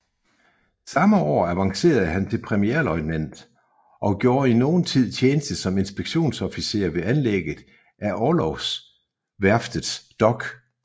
Samme år avancerede han til premierløjtnant og gjorde i nogen tid tjeneste som inspektionsofficer ved anlægget af Orlogsværftets dok